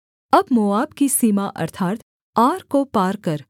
अब मोआब की सीमा अर्थात् आर को पार कर